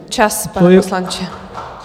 Čas, pane poslanče.